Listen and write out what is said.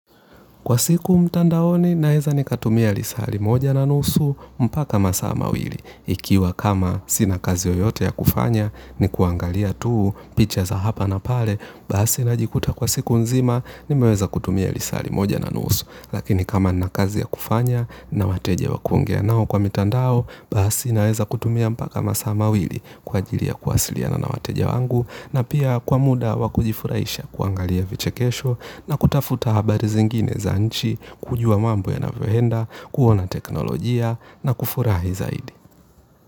Kwa siku mtandaoni naeza nikatumia lisali moja na nusu mpaka masa mawili. Ikiwa kama sina kazi oyote ya kufanya ni kuangalia tuu, picha za hapa na pale, bahasi najikuta kwa siku nzima ni meweza kutumia lisali moja na nusu. Lakini kama nina kazi ya kufanya, na wateja wa kuongea nao kwa mitandao, basi naeza kutumia mpaka masaa mawili kwa ajili ya kuwasiliana na wateja wangu na pia kwa muda wa kujifurahisha, kuangalia vichekesho na kutafuta habari zingine za nchi, kujua mambo yanavoenda, kuona teknolojia na kufurahi zaidi.